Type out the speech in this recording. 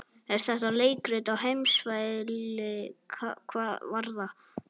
Er þetta leikrit á heimsmælikvarða?